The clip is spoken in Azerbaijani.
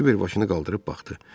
Kiver başını qaldırıb baxdı.